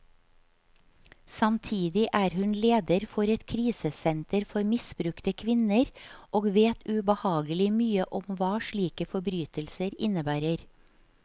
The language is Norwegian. Samtidig er hun leder for et krisesenter for misbrukte kvinner, og vet ubehagelig mye om hva slike forbrytelser innebærer.